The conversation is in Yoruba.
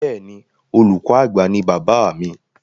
Bẹ́ẹ̀ni, olùkọ àgbà ní bàbáà mi.